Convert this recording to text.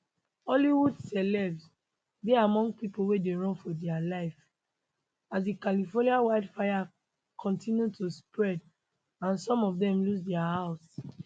hollywood celebs dey among pipo wey dey run for dia life as di california wildfire kontinu to spread and some of dem lose dia house